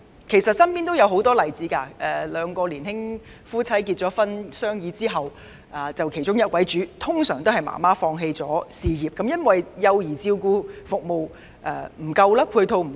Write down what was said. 其實，我身邊也有很多例子：一對年輕夫妻經商議後，其中一位會放棄事業，以便在家育兒，這是因為本港幼兒照顧服務的配套不足。